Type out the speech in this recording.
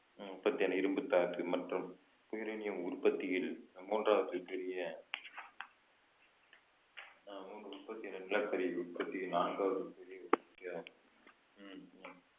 உற்பத்தியான இரும்புத்தாது மற்றும் யுரேனியம் உற்பத்தியில் மூன்றாவது பெரிய அஹ் உற்பத்தி~ நிலக்கரி உற்பத்தியில் நான்காவது பெரிய உற்பத்தியாகும்